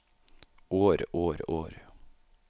år år år